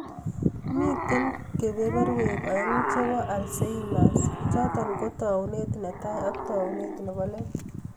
Mitee kibeberwek aengu cheboo alzheimers chotoo koo naunet netai ak taunet neboo let